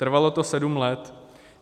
Trvalo to sedm let.